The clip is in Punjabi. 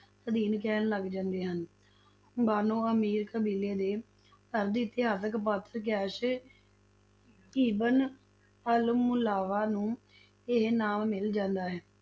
ਅਧੀਨ ਕਹਿਣ ਲੱਗ ਜਾਂਦੇ ਹਨ, ਬਾਨੋ ਅਮੀਰ ਕਬੀਲੇ ਦੇ ਅਰਧ-ਇਤਹਾਸਕ ਪਾਤਰ ਕੈਸ਼ ਇਬਨ ਅਲ-ਮੁਲਾਵਾ ਨੂੰ ਇਹ ਨਾਮ ਮਿਲ ਜਾਂਦਾ ਹੈ,